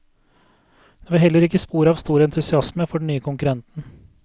Det var heller ikke spor av stor entusiasme for den nye konkurrenten.